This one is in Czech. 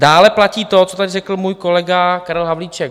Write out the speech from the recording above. Dále platí to, co tady řekl můj kolega Karel Havlíček.